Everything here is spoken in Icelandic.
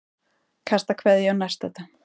Kastar kveðju á nærstadda.